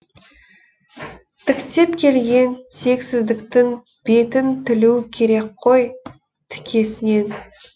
тіктеп келген тексіздіктің бетін тілу керек қой тікесінен